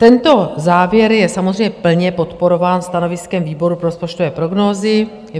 Tento závěr je samozřejmě plně podporován stanoviskem výboru pro rozpočtové prognózy.